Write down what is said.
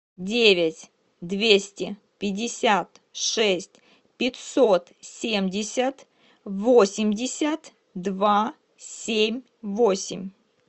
девять двести пятьдесят шесть пятьсот семьдесят восемьдесят два семь восемь